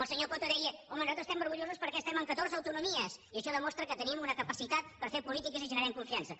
el senyor coto deia home nosaltres estem orgullosos perquè estem en catorze autonomies i això demostra que tenim una capacitat per fer polítiques i generem confiança